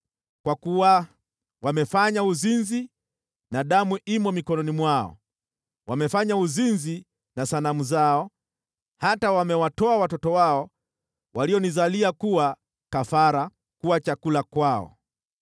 kwa kuwa wamefanya uzinzi na damu imo mikononi mwao. Wamefanya uzinzi na sanamu zao, hata wamewatoa watoto wao walionizalia kuwa kafara, kuwa chakula kwao.